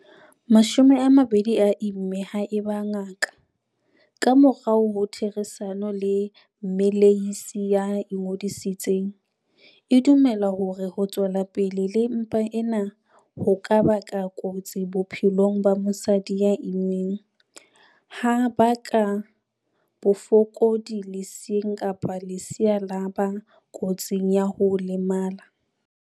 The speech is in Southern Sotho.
20 a imme haeba ngaka, ka morao ho therisano le mmelehisi ya ingodisitseng, e dumela hore ho tswela pele le mpa ena ho ka ba kotsi bophelong ba mosadi ya immeng, ha baka bofokodi leseeng kapa lesea la ba kotsing ya ho lemala.